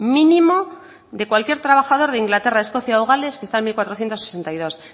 mínimo de cualquier trabajador de inglaterra escocia o gales que está en mil cuatrocientos sesenta y dos